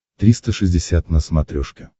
триста шестьдесят на смотрешке